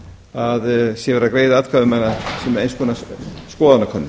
að verið sé að greiða atkvæði um hana sem eins konar skoðanakönnun